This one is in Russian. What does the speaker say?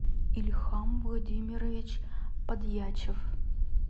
ильхам владимирович подъячев